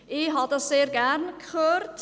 Ich habe das sehr gerne gehört.